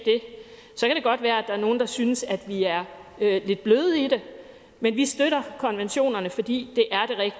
godt være at der er nogle der synes at vi er lidt bløde i det men vi støtter konventionerne fordi